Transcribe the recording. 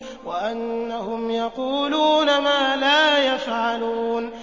وَأَنَّهُمْ يَقُولُونَ مَا لَا يَفْعَلُونَ